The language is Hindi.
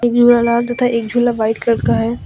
झूला लाल तथा एक झूला व्हाइट कलर का है।